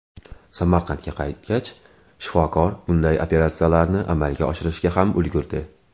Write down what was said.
Samarqandga qaytgach, shifokor bunday operatsiyalarni amalga oshirishga ham ulgurdi.